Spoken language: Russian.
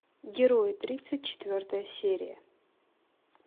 герои тридцать четвертая серия